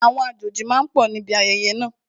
Àwọn àjòjì máa pọ̀ níbi ayẹyẹ náà